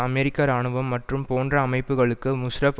அமெரிக்க இராணுவம் மற்றும் போன்ற அமைப்புகளுக்கு முஷ்ராப்